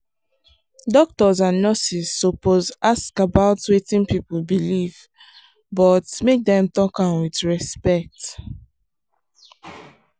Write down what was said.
doctors and nurses suppose ask about wetin people believe but make dem talk am with respect.